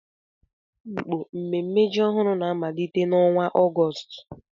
N'Afikpo, mmemme ji ọhụrụ na-amalite n'ọnwa Ọgọst